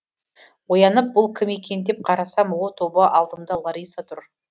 оянып бұл кім екен деп қарасам о тоба алдымда лариса тұр